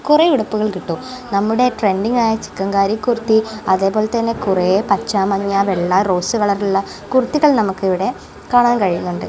കുറേ ഉടുപ്പുകൾ കിട്ടും നമ്മുടെ ട്രെൻഡിങ് ആയ ചികൻകാരി കുർത്തി അതേപോലെതന്നെ കുറെ പച്ച മഞ്ഞ വെള്ള റോസ് കളർ ഉള്ള കുർത്തികൾ നമുക്ക് ഇവിടെ കാണാൻ കഴിയുന്നുണ്ട്.